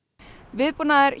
viðbúnaður